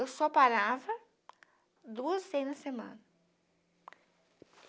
Eu só parava duas vezes na semana.